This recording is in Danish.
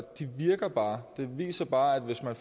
det virker bare det viser bare at hvis man